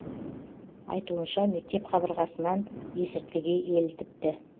айтуынша мектеп қабырғасынан есірткіге елітіпті